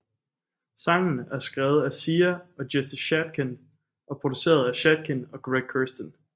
Sangen er skrevet af Sia og Jesse Shatkin og produceret af Shatkin og Greg Kurstin